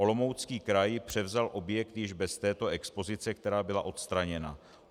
Olomoucký kraj převzal objekt již bez této expozice, která byla odstraněna.